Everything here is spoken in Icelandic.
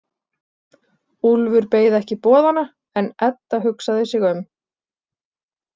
Úlfur beið ekki boðanna en Edda hugsaði sig um.